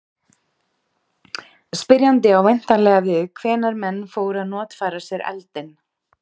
spyrjandi á væntanlega við hvenær menn fóru að notfæra sér eldinn